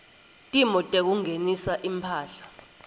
timo tekungenisa imphahla